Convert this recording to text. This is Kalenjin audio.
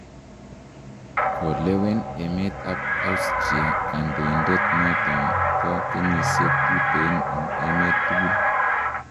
kolewen emet ab Astruia kandoindet noton bo kenyisiek tuten en emet tukul